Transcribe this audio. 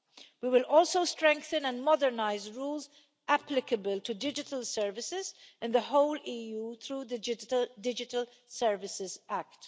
We will also strengthen and modernise rules applicable to digital services in the whole EU through the Digital Services Act.